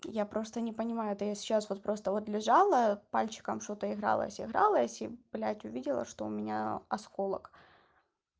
я просто не понимаю это я сейчас вот просто вот лежала пальчиком что-то игралась игралась и блядь увидела что у меня осколок